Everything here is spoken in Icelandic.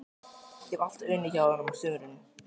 Ég hafði alltaf unnið hjá honum á sumrin.